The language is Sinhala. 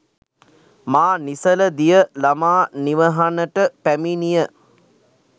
මා නිසල දිය ළමා නිවහනට පැමිණිය